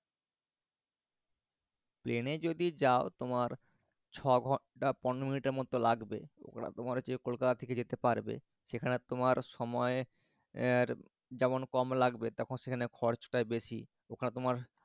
প্লেনে যদি যাও তোমার ছ ঘণ্টা পনেরো মিনিটের মত লাগবে ওটা তোমার হচ্ছে কলকাতা থেকে যেতে পারবে। সেখানে তোমার সময় এর যেমন কম লাগবে সেখানে খরচটা বেশি। ওখানে তোমার